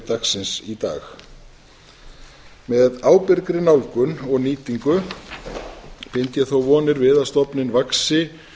dagsins í dag með ábyrgri nálgun og nýtingu bind ég þó vonir við stofninn vaxi